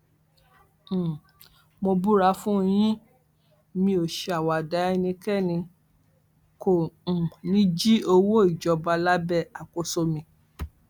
um mo búra fún yín mi ò ṣàwàdà ẹnikẹni kò um ní í jí owó ìjọba lábẹ àkóso mi